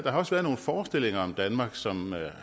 også været nogle forestillinger om danmark som